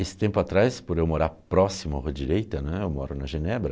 Esse tempo atrás, por eu morar próximo à rua direita né, eu moro na Genebra,